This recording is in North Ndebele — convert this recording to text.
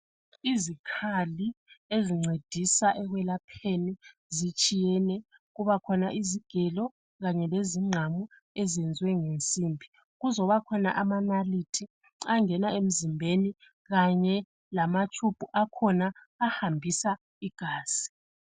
Izikhali ezoncedisa ekwelapheni zitshiyene kuba khona izigelo kanye lezinqamu eziyenzwe ngensimbi kuzoba khona ama nalithi angena emzimbeni kanye lama tshubhu akhona ahambisa igazi.